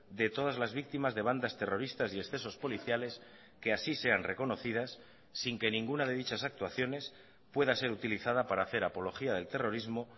de todas las víctimas de bandas terroristas y excesos policiales que así sean reconocidas sin que ninguna de dichas actuaciones pueda ser utilizada para hacer apología del terrorismo